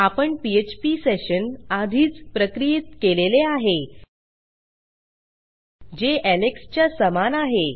आपण PHP session आधीच प्रक्रियित केलेले आहे जे एलेक्स च्या समान आहे